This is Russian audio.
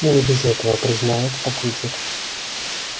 ну не без этого признает папульчик